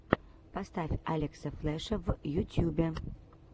поставь алекса флеша в ютьюбе